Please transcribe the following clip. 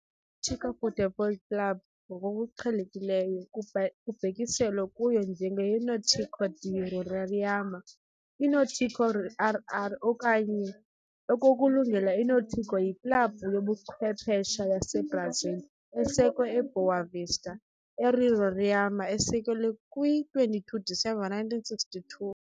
tico Futebol Clube, ngokuqhelekileyo kubhekiselwa kuyo njenge yi-Náutico de Roraima, i-Náutico-RR okanye ngokulula i-Náutico yiklabhu yobuchwephesha yaseBrazil esekwe eBoa Vista, eRoraima esekelwe kwi-22 kaDisemba 1962.